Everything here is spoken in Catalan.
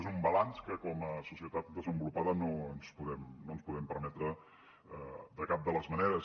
és un balanç que com a societat desenvolupada no ens podem permetre de cap de les maneres